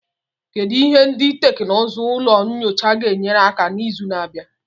Kedu ihe ndị teknụzụ ụlọ nyocha ga-enyere aka na izu na-abịa?